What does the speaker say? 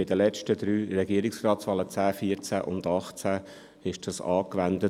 Bei den letzten drei Regierungsratswahlen – 2010, 2014 und 2018 – wurde dies angewendet.